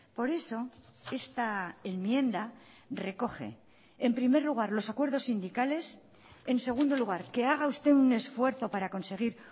por eso esta enmienda recoge en primer lugar los acuerdos sindicales en segundo lugar que haga usted un esfuerzo para conseguir